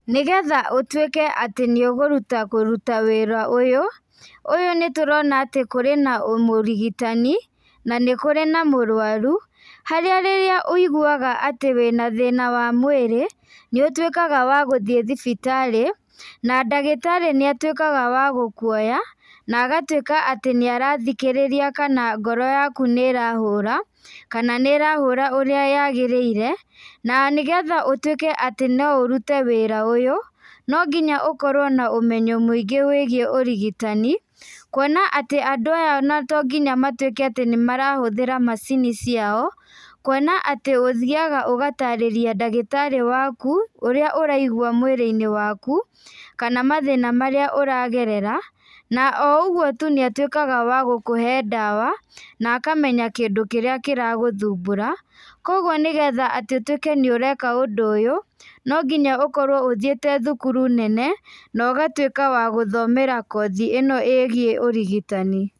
Nĩgetha ũtuĩke atĩ nĩũgũruta kũruta wĩra ũyũ, ũyũ nĩtũrona atĩ kũrĩ na mũrigitani, na nĩ kũrĩ na mũrwaru, harĩa rĩrĩa wĩiguaga atĩ wĩna thina wa mwĩrĩ, nĩũtuĩkaga wa gũthiĩ thibitarĩ, na ndagĩtarĩ nĩatuĩkaga wa gũkuoya, na agatuĩka atĩ nĩarathikĩrĩria kana ngoro yaku nĩrahũra, kana nĩrahũra ũrĩa yagĩrĩire, na nĩgetha ũtuĩke atĩ no ũrute wĩra ũyũ, nonginya ũkorwo na ũmenyo mũingĩ wĩgiĩ ũrigitani, kuona atĩ andũ aya ona tonginya matuĩke atĩ nĩmarahũthĩra macini ciao, kuona atĩ ũthiaga ũgatarĩriĩ ndagĩtarĩ waku, ũrĩa ũraigua mwĩrĩinĩ waku, kana mathĩna marĩa ũragerera, na o ũgũo tũ nĩatuĩkaga wa gũkũhe ndawa, na akamenya kindũ kĩrĩa kĩragũthumbũra, koguo nĩgetha atĩ ũtuĩke atĩ nĩũreka ũndũ ũyũ, nonginya ũkorwo ũthiĩte thukuru nene, nogatuĩka wa gũthomera kothi ĩno ĩgiĩ ũrigitani.